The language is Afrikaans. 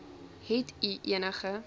het u enige